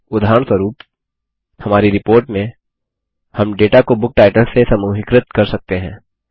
उदाहरणस्वरूप हमारी रिपोर्ट में हम डेटा को बुक टाइटल्स से समूहीकृत कर सकते हैं